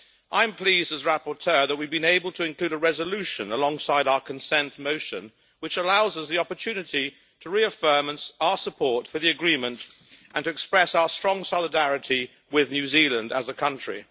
I am pleased as rapporteur that we have been able to include a resolution alongside our consent motion, which allows us the opportunity to reaffirm our support for the agreement and to express our strong solidarity with New Zealand as a country.